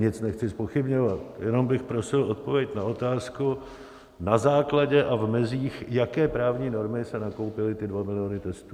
Nic nechci zpochybňovat, jenom bych prosil odpověď na otázku, na základě a v mezích jaké právní normy se nakoupily ty 2 miliony testů.